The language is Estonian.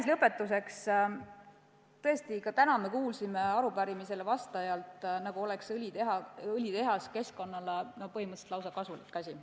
Ja lõpetuseks, tõesti, ka täna me kuulsime arupärimisele vastajalt, nagu oleks õlitehas keskkonnale põhimõtteliselt lausa kasulik.